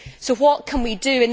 So what can we do?